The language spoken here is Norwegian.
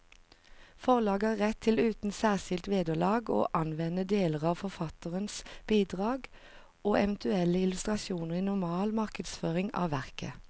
Forlaget har rett til uten særskilt vederlag å anvende deler av forfatterens bidrag og eventuelle illustrasjoner i normal markedsføring av verket.